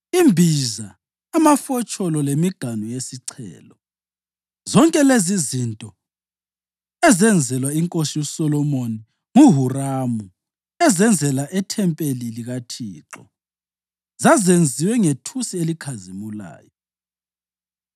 imbiza, amafotsholo lemiganu yesichelo. Zonke lezizinto ezenzelwa iNkosi uSolomoni nguHuramu ezenzela ithempeli likaThixo zazenziwe ngethusi elikhazimulayo.